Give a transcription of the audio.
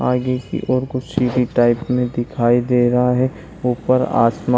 आगे की ओर कुछ सीढ़ी टाइप में दिखाई दे रहा है। ऊपर आसमा --